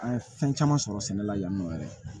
An ye fɛn caman sɔrɔ sɛnɛ la yan nɔ yɛrɛ